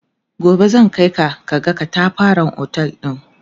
gobe zan Kai ka kaga ƙatafaren otel ɗin